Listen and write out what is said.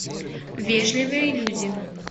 вежливые люди